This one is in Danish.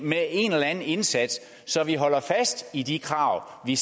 med en eller anden indsats så vi holder fast i de krav vi